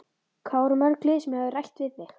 Hvað voru mörg lið sem höfðu rætt við þig?